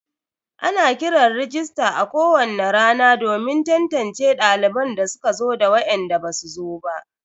Ana kiran rajista a kowani rana domin tantance daliban da suka zo da wainda basu zo ba.